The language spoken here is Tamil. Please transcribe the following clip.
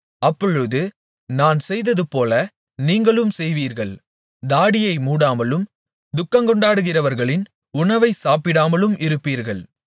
அப்பொழுது நான் செய்ததுபோல நீங்களும் செய்வீர்கள் தாடியை மூடாமலும் துக்கங்கொண்டாடுகிறவர்களின் உணவை சாப்பிடாமலும் இருப்பீர்கள்